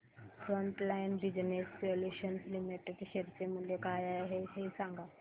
frontline business solutions limited share चे मूल्य काय आहे हे सांगा